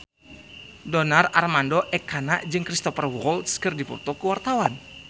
Donar Armando Ekana jeung Cristhoper Waltz keur dipoto ku wartawan